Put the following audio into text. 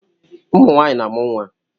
Ụmụ nwaanyị na-amụ nwa.